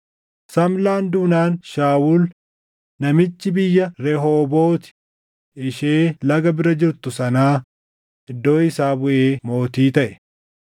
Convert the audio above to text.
Samlaan duunaan Shaawul namichi biyya Rehoobooti ishee laga bira jirtu sanaa iddoo isaa buʼee mootii taʼe.